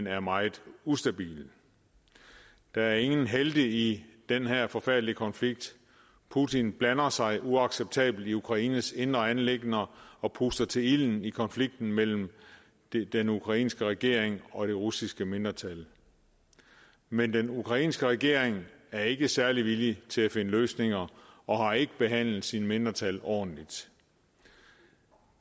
er meget ustabil der er ingen helte i den her forfærdelige konflikt putin blander sig uacceptabelt i ukraines indre anliggender og puster til ilden i konflikten mellem den ukrainske regering og det russiske mindretal men den ukrainske regering er ikke særlig villig til at finde løsninger og har ikke behandlet sine mindretal ordentligt